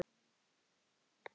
Í loftinu er ennþá ball.